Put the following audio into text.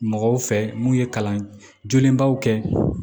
Mɔgɔw fɛ mun ye kalan jolenbaw kɛ